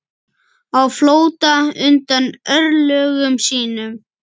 Á flótta undan örlögum sínum.